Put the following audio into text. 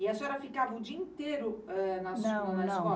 E a senhora ficava o dia inteiro, ãn na sua escola? Não não